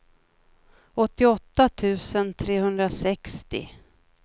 åttioåtta tusen trehundrasextio